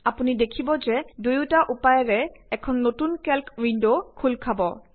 আপুনি দেখিব যে দুয়োটা উপায়েৰে এখন নতুন কেল্ক উইন্ড খুলি যাব